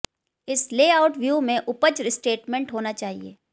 इस layout view में उपज स्टेटमेंट होना चाहिए